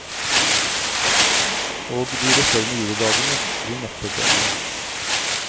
Og de resterende julidagene blir neppe bedre.